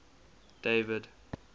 david